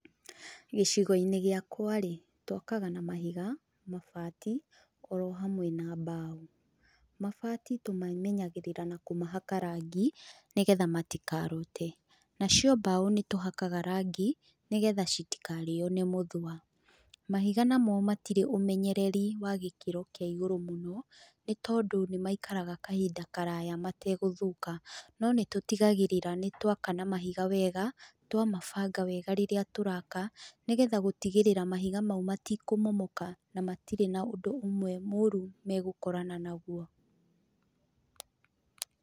Gĩcigo-inĩ gĩakwa-rĩ, twakaga na mahiga, mabati, orohamwe na mbaũ. Mabati tũmamenyagĩrĩra na kũhaka rangi nĩgetha matikarute, nacio mbaũ nĩtũhakaga rangi, nĩgetha citikarĩo nĩ mũthũa. Mahiga namo matirĩ ũmenyereri wa gĩkĩro kĩa igũrũ mũno, nĩtondũ nĩ maikaraga kahinda karaya mategũthũka, nonĩtũtigagĩrĩra nĩtũaka na mahiga wega, twamabanga wega rĩrĩa tũraka, nĩgetha gũtigĩrĩra mahiga mau matikũmomoka na matirĩ na ũndũ ũmwe mũũrũ megũkorana naguo.